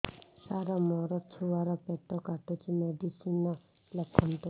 ସାର ମୋର ଛୁଆ ର ପେଟ କାଟୁଚି ମେଡିସିନ ଲେଖନ୍ତୁ